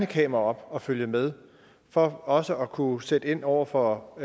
kameraer op og følge med for også at kunne sætte ind over for